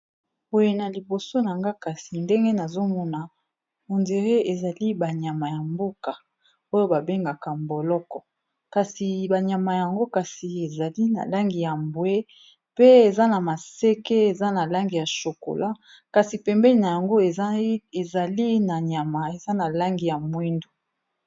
Boye na liboso nanga kasi ndenge nazomona hondire ezali ba nyama ya mboka oyo babengaka mboloko kasi ba nyama yango kasi ezali na langi ya mbwe pe eza na maseke eza na langi ya chokola kasi pembeni nango ezali na nyama eza na langi ya mwindu.